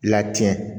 Latiɲɛ